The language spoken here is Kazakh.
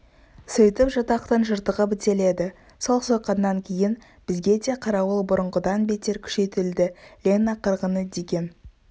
сөйтіп жатақтың жыртығы бітеледі сол сойқаннан кейін бізге де қарауыл бұрынғыдан бетер күшейтілді лена қырғыны деген